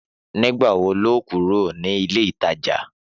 Nígbà wo ní óò kúrò ní ilé ìtajà?